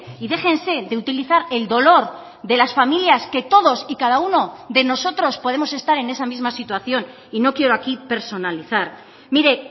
y déjense de utilizar el dolor de las familias que todos y cada uno de nosotros podemos estar en esa misma situación y no quiero aquí personalizar mire